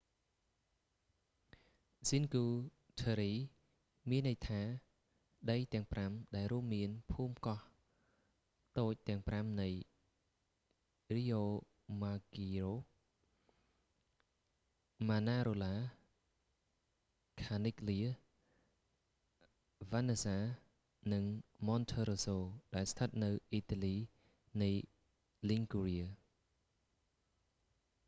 cinque terre មានន័យថាដីទាំងប្រាំ ដែលរួមមានភូមិកោះតូចទាំងប្រាំនៃ riomaggiore manarola corniglia vernazza និង monterosso ដែលស្ថិតនៅអ៊ីតាលីនៃ liguria